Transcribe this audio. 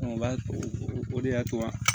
o b'a to o de y'a to wa